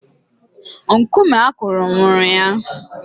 Nkume akụrụ nwụrụ ya.